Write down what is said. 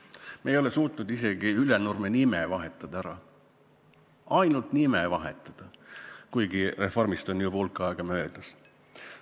Me ei ole suutnud isegi Ülenurme nime ära vahetada – ainult nime vahetada –, kuigi reformist on juba hulk aega möödas.